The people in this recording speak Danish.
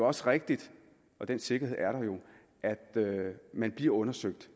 også rigtigt den sikkerhed er der jo at man bliver undersøgt